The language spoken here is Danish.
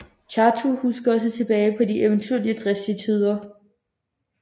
Chattu husker også tilbage på de eventyrlige og dristige tider